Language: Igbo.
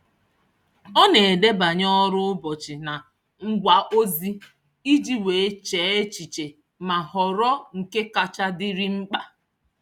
Ọ na-edebanye ọrụ ụbọchị na ngwa ozi iji wee chee echiche ma họrọ nke kacha dịrị mkpa.